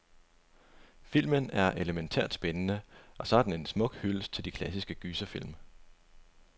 Filmen er elemæntært spændende, og så er den en smuk hyldest til de klassiske gyserfilm.